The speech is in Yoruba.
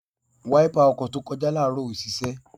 Wáípà ọkọ̀ tó kọjá láàárọ̀ ò ṣiṣẹ́.